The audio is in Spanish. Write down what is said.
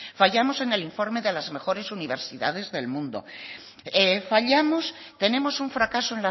fallamos en el informe de las mejores universidades del mundo tenemos un fracaso